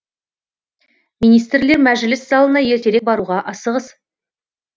министрлер мәжіліс залына ертерек баруға асығыс